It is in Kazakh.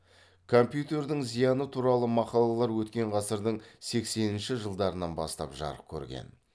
компьютердің зияны туралы мақалалар өткен ғасырдың сексенінші жылдарынан бастап жарық көрген